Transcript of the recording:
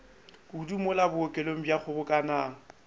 kudu mola bookelong bja kgobokanang